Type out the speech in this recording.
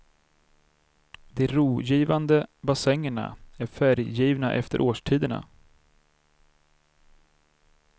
De rogivande bassängerna är färggivna efter årstiderna.